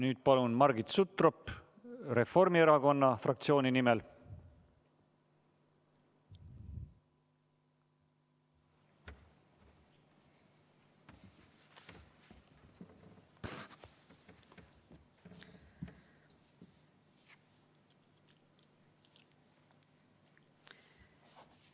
Nüüd palun Margit Sutrop Reformierakonna fraktsiooni nimel!